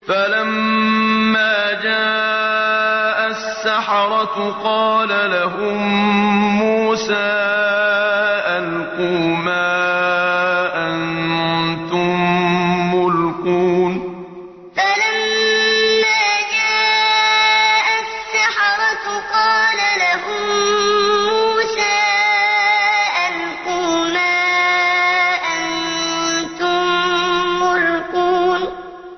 فَلَمَّا جَاءَ السَّحَرَةُ قَالَ لَهُم مُّوسَىٰ أَلْقُوا مَا أَنتُم مُّلْقُونَ فَلَمَّا جَاءَ السَّحَرَةُ قَالَ لَهُم مُّوسَىٰ أَلْقُوا مَا أَنتُم مُّلْقُونَ